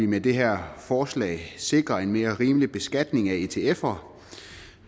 med det her forslag sikre en mere rimelig beskatning af etfer